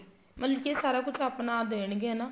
ਮਤਲਬ ਕੀ ਸਾਰਾ ਕੁੱਛ ਆਪਣਾ ਦੇਣਗੇ ਹਨਾ